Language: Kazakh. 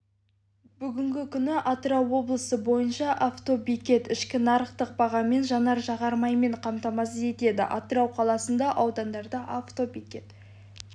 бүгінгі күні атырау облысы бойынша автобекет ішкі нарықтық бағамен жанар-жағармаймен қамтамасыз етеді атырау қаласында аудандарда автобекет